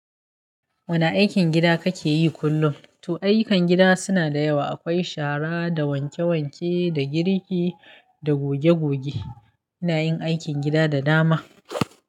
Wane aikin gida kake yi kullum? Toh, ayyukan gida suna da yawa. Akwai shara da wanke-wanke, da girki da goge-goge. Ina yin aikin gida da dama.